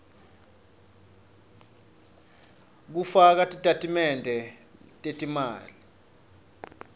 kufaka titatimende tetimali